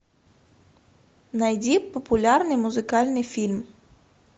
найди популярный музыкальный фильм